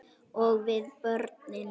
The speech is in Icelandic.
Og við börnin.